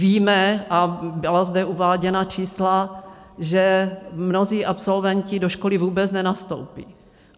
Víme, a byla zde uváděna čísla, že mnozí absolventi do školy vůbec nenastoupí.